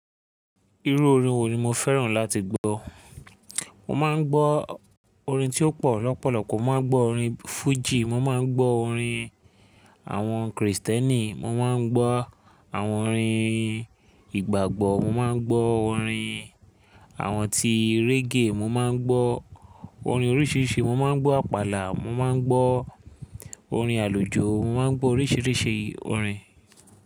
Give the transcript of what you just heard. Irú orin wo ni mo fẹ́ràn láti gbọ́? Mo máa ń gbọ́ orin tí ó pọ̀ lọ́pọ̀lọpọ̀. Mo máa ń gbọ́ orin Fuji, mo máa ń gbọ́ orin àwọn Kristẹni, mo máa ń gbọ́ àwọn orin ìgbàgbọ́, mo máa ń gbọ́ orin àwọn tí reggae, mo máa ń gbọ́ orin oríṣiríṣi, mo máa ń gbọ́ àpàlà, mo máa ń gbọ́ orin àlùjọ, mo máa ń gbọ́ oríṣiríṣi orin.